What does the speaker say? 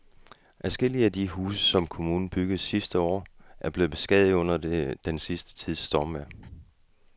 Adskillige af de huse, som kommunen byggede sidste år, er blevet beskadiget under den sidste tids stormvejr.